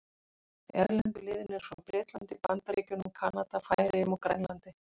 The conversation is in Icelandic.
Erlendu liðin eru frá Bretlandi, Bandaríkjunum, Kanada, Færeyjum og Grænlandi.